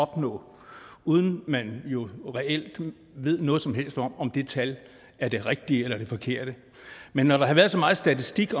opnå uden at man jo reelt ved noget som helst om om det tal er det rigtige eller det forkerte men når der har været så meget statistik i